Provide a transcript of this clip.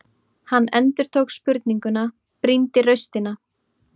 Hann endurtók spurninguna, brýndi raustina.